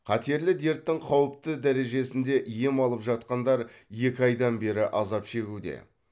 қатерлі дерттің қауіпті дережесінде ем алып жатқандар екі айдан бері азап шегуде